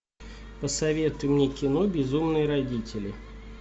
посоветуй мне кино безумные родители